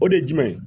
O de ye jumɛn ye